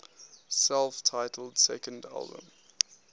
self titled second album